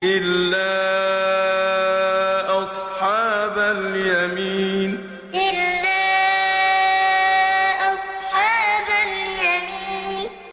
إِلَّا أَصْحَابَ الْيَمِينِ إِلَّا أَصْحَابَ الْيَمِينِ